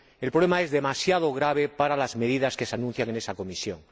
El problema es demasiado grave para las medidas que se anuncian en la Comisión.